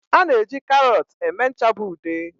A na-eji karọt eme ncha bụ ude.